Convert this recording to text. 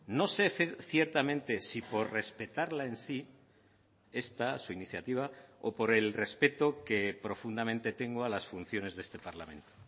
no sé ciertamente si por respetarla en sí esta su iniciativa o por el respeto que profundamente tengo a las funciones de este parlamento